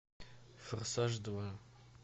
форсаж два